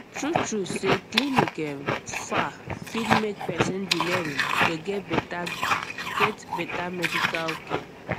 truetrue say clinic um far fit make person delay um to get better get better medical care